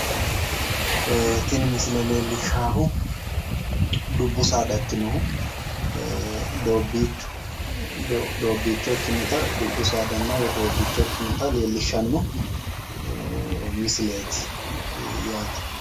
Tini misile leellishashu dubbu saada ikkinohu doobbiichu doobbicho ikkinota leellinshshanno misileeti yaate.